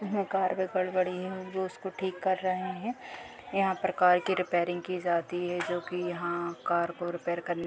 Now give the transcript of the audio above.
यहाँ कार में गड़बड़ी है जो उसको ठीक कर रहे हैं। यहाँ पर कार की रिपेयरिंग की जाती है जो कि यहाँ कार को रिपेयर करने --